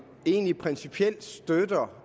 egentlig principielt støtter